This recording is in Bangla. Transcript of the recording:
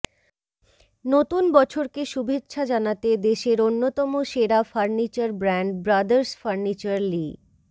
নতুন বছরকে শুভেচ্ছা জানাতে দেশের অন্যতম সেরা ফার্নিচার ব্র্যান্ড ব্রাদার্স ফার্নিচার লি